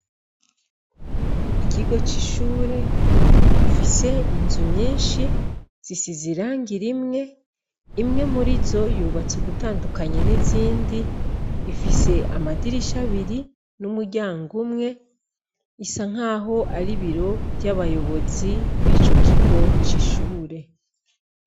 Ikigo c'ishure gifise inzu nyinshi zisizirangira imwe imwe muri zo yubatse ugutandukanye n'izindi ifise amadirisha abiri n'umuryango umwe isa nk'aho ari biro ry'abayobozi b'ico kigoci ishubure.